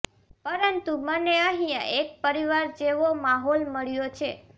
પરંતુ મને અહીયા એક પરિવાર જેવો માહોલ મળ્યો છે